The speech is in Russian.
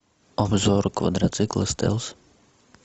обзор квадроцикла стелс